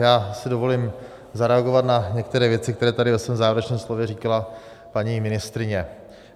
Já si dovolím zareagovat na některé věci, které tady ve svém závěrečném slově říkala paní ministryně.